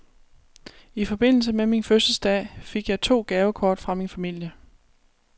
I forbindelse med min fødselsdag fik jeg to gavekort fra min familie.